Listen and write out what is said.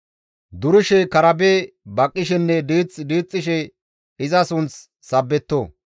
Durishe karabe baqqishenne diith diixxishe iza sunth sabbetto.